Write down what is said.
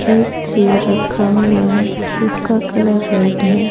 एक चेयर रखा हुआ है जिसका कलर रेड है।